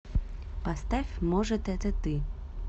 поставь может это ты